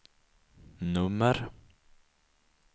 nummer